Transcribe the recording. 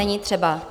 Není třeba.